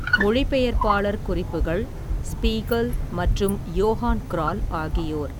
மொழிபெயர்ப்பாளர் குறிப்புகள் ஸ்பீகல் மற்றும் யோஹான் க்ரால் ஆகியோர்.